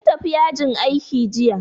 Sun tafi yajin aiki jiya